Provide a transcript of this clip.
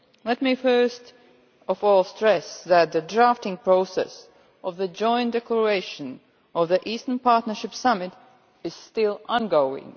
Let me first of all stress that the drafting process of the joint declaration of the Eastern Partnership Summit is still ongoing.